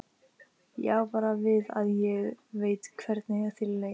Ég á bara við að ég veit hvernig þér leið.